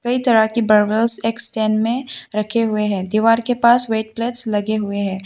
कई तरह की बर्बेल्स एक स्टैंड में रखे हुए हैं दीवार के पास वेट प्लस लगे हुए हैं।